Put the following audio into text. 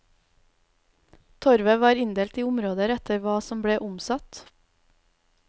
Torvet var inndelt i områder etter hva som ble omsatt.